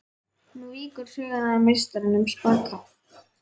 Nú víkur sögunni að meistaranum spaka.